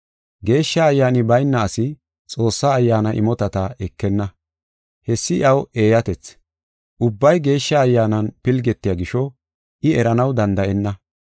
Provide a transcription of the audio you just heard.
Geeshsha Ayyaani bayna asi Xoossa Ayyaana imotata ekenna. Hessi iyaw eeyatethi; ubbay Geeshsha Ayyaanan pilgetiya gisho, I eranaw danda7enna.